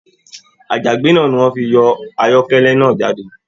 Àjàgbé náà ní wọn fí yọ ayọkẹlẹ náà jáde.